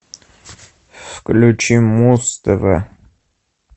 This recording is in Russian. включи муз тв